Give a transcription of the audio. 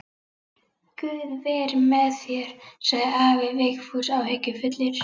Guð veri með þér, sagði afi Vigfús áhyggjufullur.